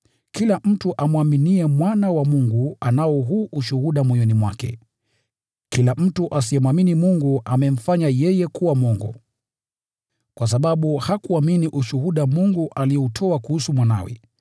Kila mtu amwaminiye Mwana wa Mungu anao huu ushuhuda moyoni mwake. Kila mtu asiyemwamini Mungu amemfanya yeye kuwa mwongo, kwa sababu hakuamini ushuhuda Mungu alioutoa kuhusu Mwanawe.